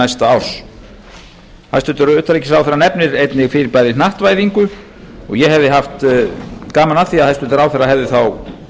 næsta árs hæstvirts utanríkisráðherra nefnir einnig til bæði hnattvæðingu og ég hefði haft gaman af því að hæstvirtur ráðherra hefði þá